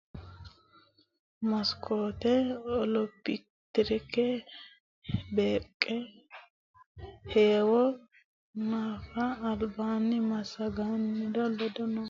Mekiskote olompikera beeqqe heewo hanafe albaanni massaggannori ledo tonaa lamala kilo meetire dodi gedensaanni lekkasi gawajjo qarrisseennasi ledosi noohu Maammo Woldehura hedinokki yannara heewo agure fulara noota kuli.